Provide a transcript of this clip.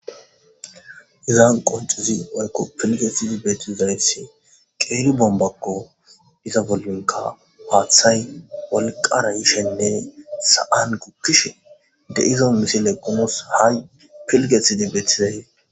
izan qoncizi mayko pilgetsidi bettizayth qeelu bombakko diza bollinka paaththay wolqara yishenne sa7an gukkishe de izo misile qumos hay pilgetsidi beetizay